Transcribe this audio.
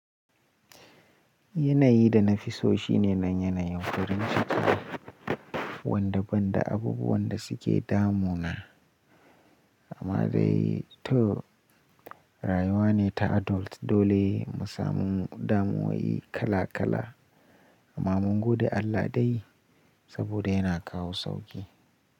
Yanayi da nafi so shine nan yanayin farin ciki, wanda banda abubuwan da suke damuna amma dai to, rayuwa ne ta adult dole mu samu damuyoyi kala kala amma mun gode Allah dai saboda yana kawo sauƙi.